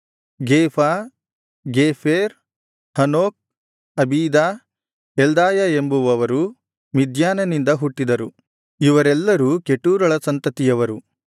ಗೇಫಾ ಗೇಫೆರ್ Hanoch Abida Eldaah ಎಂಬುವವರು ಮಿದ್ಯಾನನಿಂದ ಹುಟ್ಟಿದರು ಇವರೆಲ್ಲರೂ ಕೆಟೂರಳ ಸಂತತಿಯವರು